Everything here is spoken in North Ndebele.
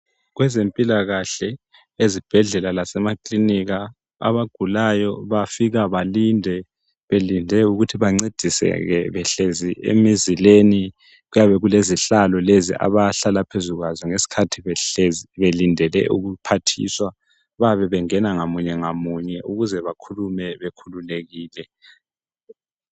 kwezempilakahle ezibhedlela lasemakilinika abagulayo bafika balinde belinde ukuthi bencediseke behlezi emizileni kuyabe kulezihlalo lezi abahlala phezu kwazo ngesikhathi belindele ukuphathiswa bayabe bengena ngamunye ngamunye ukuze bakhulume bekhululekile